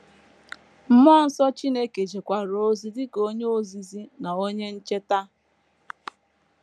Mmụọ nsọ Chineke jekwara ozi dị ka onye ozizi na onye ncheta.